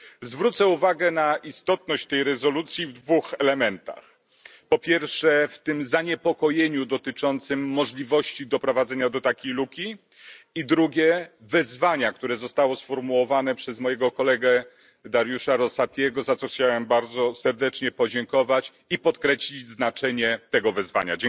Zwrócę uwagę na istotność tej rezolucji w dwóch elementach, po pierwsze w tym zaniepokojeniu dotyczącym możliwości doprowadzenia do takiej luki i drugie wezwania, które zostało sformułowane przez, mojego kolegę, Dariusza Rosatiego, za co chciałem bardzo serdecznie podziękować i podkreślić znaczenie tego wezwania.